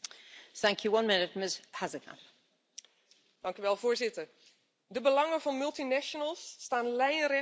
Voorzitter, de belangen van multinationals staan lijnrecht tegenover de belangen van mensen, dieren, natuur en milieu.